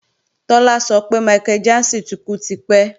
Tọ́lá sọ pé Michael Jackson ti kú tipẹ́